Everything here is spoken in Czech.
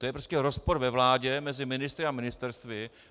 To je prostě rozpor ve vládě mezi ministry a ministerstvy.